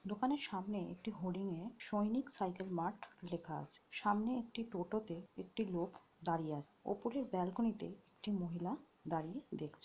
দোকানের সামনে একটি হডিং -এ সৈনিক সাইকেল মাঠ লেখা আছে। সামনে একটি টোটোতে একটি লোক দাঁড়িয়ে আছে। ওপরে ব্যালকনিতে একটি মহিলা দাঁড়িয়ে দেখছে ।